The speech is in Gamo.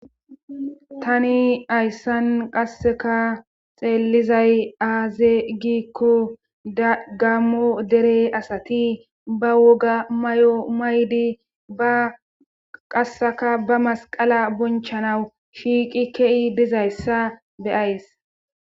tani ayssan qasseka xeellizay aaze gikko dagammo dere asati ba woga may7o maydi ba qasseka ba masqala bonchanawu shiiqi kei dizayssa beyays